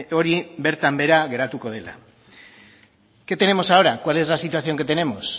hori bertan behera geratuko dela qué tenemos ahora cuál es la situación que tenemos